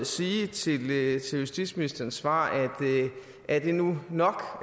sige til justitsministerens svar er det nu nok